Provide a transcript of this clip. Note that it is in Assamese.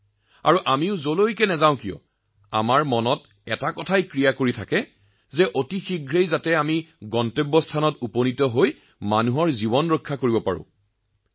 আৰু আমি যতেই যাওঁ আমি আমাৰ অন্তৰৰ পৰাও জিজ্ঞাসা লাভ কৰো যে কিমান সোনকালে আমি উপস্থিত হৈ মানুহৰ জীৱন ৰক্ষা কৰিব পাৰো মহোদয়